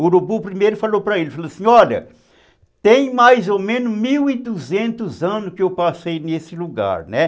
O urubu primeiro falou para ele, falou assim, olha, tem mais ou menos mil e duzentos anos que eu passei nesse lugar, né?